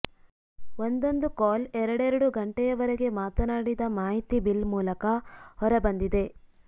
ಒಂದೊಂದು ಕಾಲ್ ಎರಡೆರಡು ಗಂಟೆಯವರೆಗೆ ಮಾತನಾಡಿದ ಮಾಹಿತಿ ಬಿಲ್ ಮೂಲಕ ಹೊರ ಬಂದಿದೆ